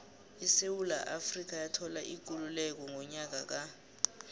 isewula afrika yathola ikululeko ngonyaka ka